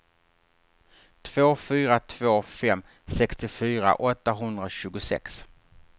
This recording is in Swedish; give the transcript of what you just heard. två fyra två fem sextiofyra åttahundratjugosex